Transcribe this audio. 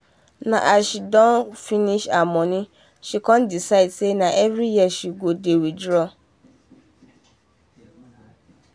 na as she doh doh finish her money she con decide say na every year she go dey withdraw